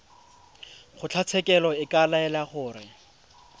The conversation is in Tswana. kgotlatshekelo e ka laela gore